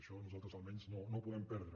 això nosaltres almenys no ho podem perdre